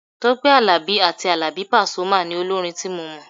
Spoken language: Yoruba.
Tọ́pẹ́ Àlàbí àti Àlàbí pasuma ni olórin tí mo mọ̀.